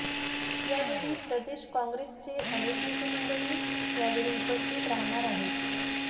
यावेळी प्रदेश काँगे्रसचे अनेक नेतेमंडळी यावेळी उपस्थित राहणार आहेत